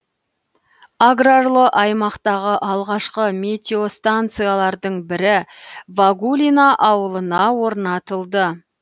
аграрлы аймақтағы алғашқы метеостанциялардың бірі вагулино ауылына орнатылды